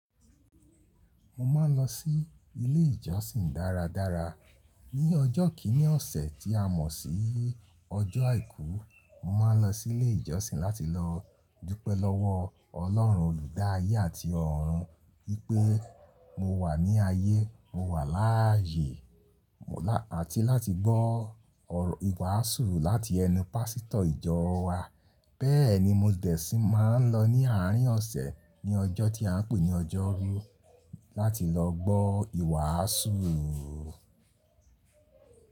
Mo ma n lo sí ilé ìjọsìn dáradára. Ni ọjọ́ kìíní ọ̀sẹ̀ tí a mọ̀ sí ọjọ́ àìkú, mo ma n lọ sí ilé ìjọsìn láti lọ dúpẹ́ lọ́wọ́ Ọlọ́run Olùdáàyé àti ọ̀run wípé mo wà ní ayé, mo wà láàyè àti láti gbọ́ ìwàásù láti ẹnu pásítọ̀ ìjọ wa. Bẹ́ẹ̀ ni mo desi má n lọ ní àárín ọ̀sẹ̀ ní ọjọ́ tí a n pè ní ọjọ́rú láti lọ gbọ́ ìwàásù.